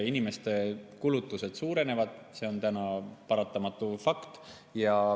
Inimeste kulutused suurenevad, see on täna paratamatult fakt.